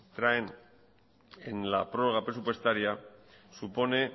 traen en la prorroga presupuestaria supone